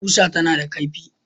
Ƙusa tana da kaifi